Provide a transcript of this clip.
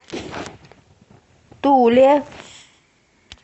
туле